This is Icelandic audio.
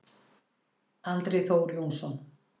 Andri Þór Jónsson